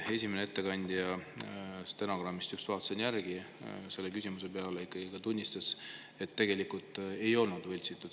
Esimene ettekandja – stenogrammist just vaatasin järgi – selle küsimuse peale ikkagi tunnistas, et tegelikult ei olnud võltsitud.